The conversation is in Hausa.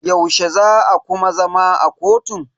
Yaushe za a kuma zama a kotun?